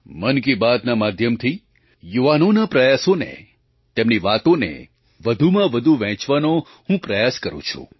મન કી બાતના માધ્યમથી યુવાનોના પ્રયાસોને તેમની વાતોને વધુમાં વધુ વહેંચવાનો હું પ્રયાસ કરું છું